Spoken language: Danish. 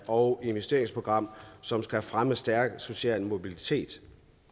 og investeringsprogram som skal fremme en stærkere social mobilitet